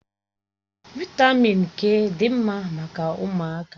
Vị́tamị́n k dị mma maka ụmụaka